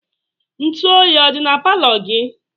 Ntu oyi ọ dị na palọ gị?